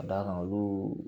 Ka d'a kan olu